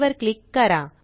वर क्लिक करा